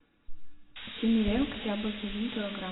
симиренко яблоки один килограмм